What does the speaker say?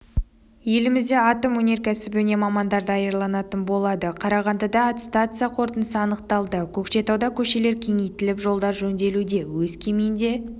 елімізде атом өнеркәсібіне мамандар даярланатын болады қарағандыда аттестация қорытындысы анықталды көкшетауда көшелер кеңейтіліп жолдар жөнделуде өскеменде